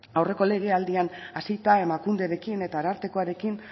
aurreko legealdian hasita emakunderekin eta arartekoarekin